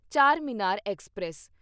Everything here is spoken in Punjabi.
ਚਾਰਮੀਨਾਰ ਐਕਸਪ੍ਰੈਸ